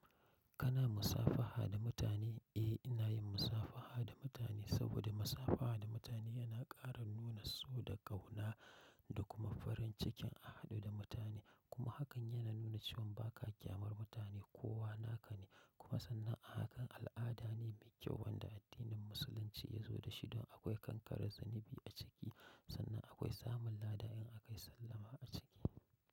Kana musafaha da mutane? Eh, inayin musabaha da mutane saboda musabaha da mutane yana ƙara nuna so da ƙauna dakuma farin cikin a haɗu da mutane. Kuma hakan yana nuna cewan baka ƙyamar mutane kowa nakane. Kuma sannan ahakan al'adane mai kyau wanda addinin Musulunci yazo dashi don akwai kankarar zunubi aciki. Sannan akwai samun lada in akayi sallama aciki.